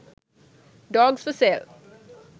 dogs for sale